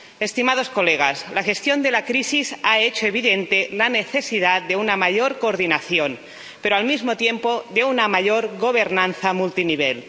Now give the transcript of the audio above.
Estimados colegas, la gestión de la crisis ha hecho evidente la necesidad de una mayor coordinación, pero, al mismo tiempo, de una mayor gobernanza multinivel.